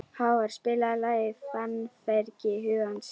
Hávarr, spilaðu lagið „Fannfergi hugans“.